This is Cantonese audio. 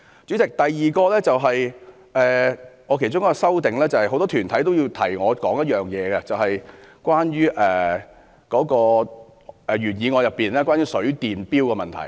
主席，我其中一項修正內容，是因應很多團體的提醒而提出的，便是原議案中有關水電錶的問題。